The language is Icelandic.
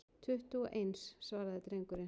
Tuttugu og eins, svaraði drengurinn.